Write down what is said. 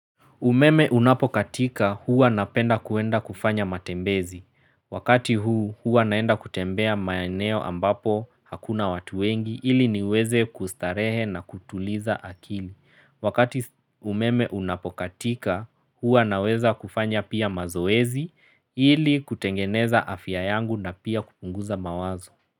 Umeme unapokatika huwa napenda kuenda kufanya matembezi. Wakati huu huwa naenda kutembea maeneo ambapo hakuna watu wengi ili niweze kustarehe na kutuliza akili. Wakati umeme unapokatika huwa naweza kufanya pia mazoezi ili kutengeneza afya yangu na pia kupunguza mawazo.